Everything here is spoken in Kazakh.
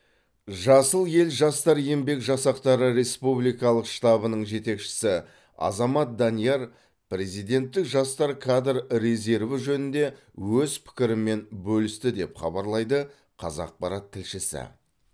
жасыл ел жастар еңбек жасақтары республикалық штабының жетекшісі азамат данияр президенттік жастар кадр резерві жөнінде өз пікірімен бөлісті деп хабарлайды қазақпарат тілшісі